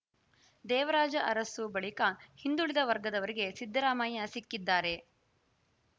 ದೇವರಾಜ ಅರಸು ಬಳಿಕ ಹಿಂದುಳಿದ ವರ್ಗದವರಿಗೆ ಸಿದ್ದರಾಮಯ್ಯ ಸಿಕ್ಕಿದ್ದಾರೆ